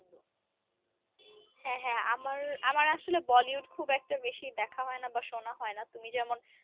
হ্যা হ্যা আমার আমার আসলে বলিউড খুব একটা বেশি দেখা হয় না শোনা হয় না তুমি যেমন